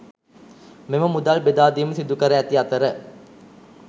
මෙම මුදල් බෙදා දීම සිදු කර ඇති අතර